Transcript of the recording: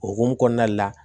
O hukumu kɔnɔna la